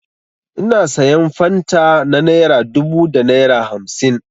Ina sayan fanta na naira dubu da naira hamsin.